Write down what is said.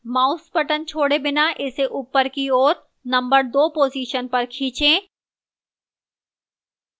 mouse button छोड़े बिना इसे upward की ओर नंबर 2 position पर खींचें